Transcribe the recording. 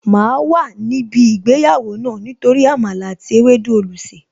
Máa wà níbí ìgbéyàwó náà Nítorí Àmàlà àti ewédú olùsè